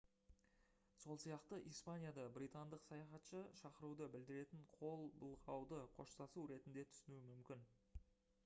сол сияқты испанияда британдық саяхатшы шақыруды білдіретін қол былғауды қоштасу ретінде түсінуі мүмкін